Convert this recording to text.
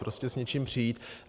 Prostě s něčím přijít.